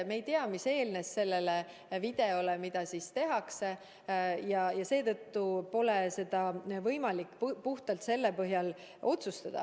Me ei tea, mis eelnes sellele videole, mis tehti, ja seetõttu pole võimalik puhtalt selle põhjal otsustada.